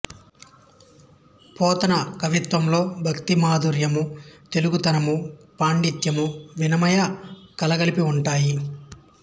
పోతన కవిత్వములో భక్తి మాధుర్యము తెలుగుతనము పాండిత్యము వినయము కలగలిపి ఉంటాయి